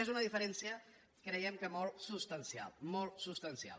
és una diferència creiem que molt substancial molt substancial